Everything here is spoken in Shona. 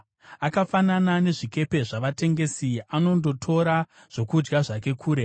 Akafanana nezvikepe zvavatengesi, anondotora zvokudya zvake kure.